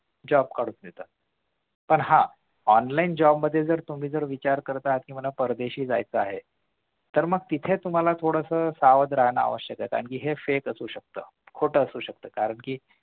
job काढून देतात पण हा online job मध्ये जर तुम्ही जर विचार करत असाल तर तुम्हाला परदेशी जायचं आहे तर मग तिथे तुम्हाला थोडसं सावध राहाण आवश्यक आहे कारण कि हे fake आशु शकतो खोटं आशु शकत कारण कि